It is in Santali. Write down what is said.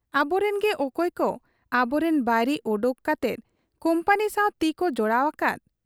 ᱟᱵᱚᱨᱤᱱ ᱜᱮ ᱚᱠᱚᱭᱠᱚ ᱟᱵᱚᱨᱤᱱ ᱵᱟᱹᱭᱨᱤ ᱚᱰᱚᱠ ᱠᱟᱛᱮ ᱠᱩᱢᱯᱟᱹᱱᱤ ᱥᱟᱶ ᱛᱤᱠᱚ ᱡᱚᱲᱟᱣ ᱟᱠᱟᱫ !